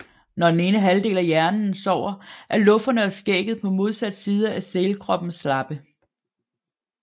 Når den ene halvdel af hjernen sover er lufferne og skægget på modsat side af sælkroppen slappe